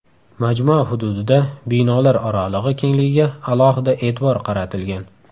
Majmua hududida binolar oralig‘i kengligiga alohida e’tibor qaratilgan.